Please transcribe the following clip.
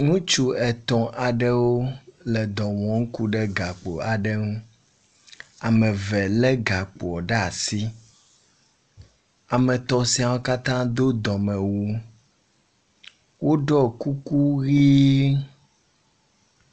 Ŋutsu etɔ̃ aɖewo le dɔ wɔm ku ɖe gakpo aɖe ŋu. Ame eve lé gakpo ɖe asi. Ame etɔ̃ siawo katã do dɔmewu. Woɖɔ kuku ʋiiii.